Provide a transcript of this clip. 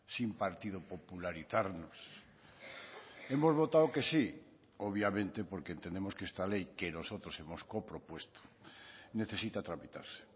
sin partido popularizarnos hemos votado que sí obviamente porque entendemos que esta ley que nosotros hemos co propuesto necesita tramitarse